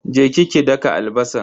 Je ki ki daka albasan.